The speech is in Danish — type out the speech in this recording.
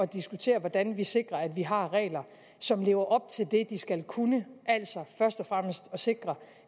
diskutere hvordan vi sikrer at vi har regler som lever op til det de skal kunne altså først og fremmest at sikre